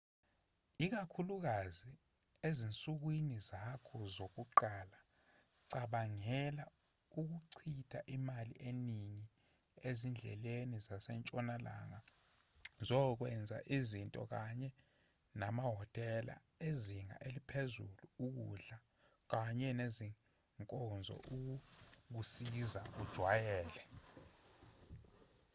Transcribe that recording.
ikakhulukazi ezinsukwini zakho zokuqala cabangela ikuchitha imali eningi ezindleleni zasentshonalanga zokwenza izinto kanye namahhotela ezinga eliphezulu ukudla kanye nezinkonzo ukukusiza ujwayele